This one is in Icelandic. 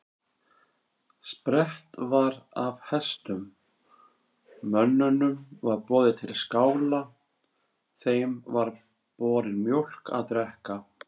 Sprett var af hestum, mönnunum var boðið til skála, þeim var borin mjólk að drekka.